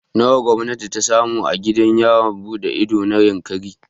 Nawa gwamnati ta samu a gidan yawon buɗe ido na Yankari?